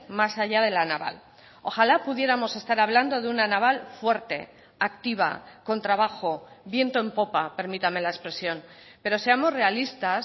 más allá de la naval ojalá pudiéramos estar hablando de una naval fuerte activa con trabajo viento en popa permítame la expresión pero seamos realistas